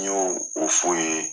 N y'o o f'u ye.